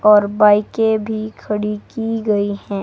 और बाईकें भी खड़ी की गई हैं।